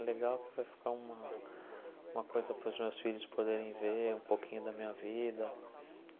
É legal que vai ficar uma uma coisa para os meus filhos poderem ver um pouquinho da minha vida.